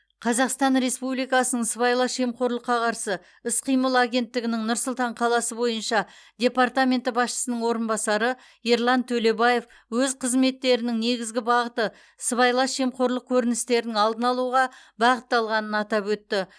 қазақстан республикасының сыбайлас жемқорлыққа қарсы іс қимыл агенттігінің нұр сұлтан қаласы бойынша департаменті басшысының орынбасары ерлан төлебаев өз қызметтерінің негізгі бағыты сыбайлас жемқорлық көріністерінің алдын алуға бағытталғанын атап өтті